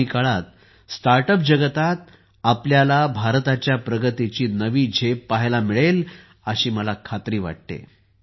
आगामी काळात स्टार्टअप जगतात आपल्यालाभारताच्या प्रगतीची नवीझेप पाहायला मिळेल अशी खात्री मला वाटते